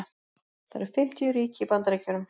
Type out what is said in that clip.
það eru fimmtíu ríki í bandaríkjunum